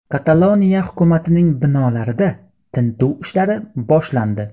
Kataloniya hukumatining binolarida tintuv ishlari boshlandi.